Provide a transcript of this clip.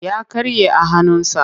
Ya karye a hannunsa.